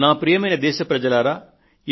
నా ప్రియమైన దేశ ప్రజలారా